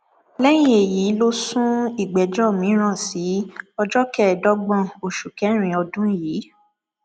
lẹyìn èyí ló sún ìgbẹjọ mìíràn sí ọjọ kẹẹẹdọgbọn oṣù kẹrin ọdún yìí